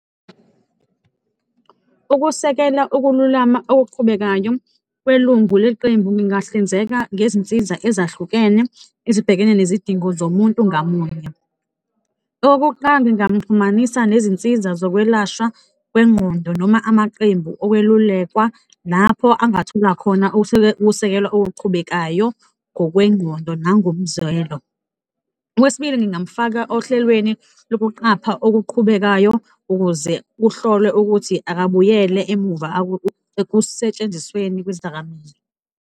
Ukusekela ukululama okuqhubekayo, welungu leqembu lingahlinzeka ngezinsiza ezahlukene ezibhekene nezidingo zomuntu ngamunye. Okukuqala, ngingamxhumanisa nezinsiza zokwelashwa kwengqondo noma amaqembu okwelulekwa, lapho angathola khona ukusekelwa okuqhubekayo ngokwengqondo nangomzwelo. Okwesibili, ngingamfaka ohlelweni lokuqapha okuqhubekayo, ukuze kuhlolwe ukuthi akabuyele emuva ekusentshenzisweni kwezidakamizwa.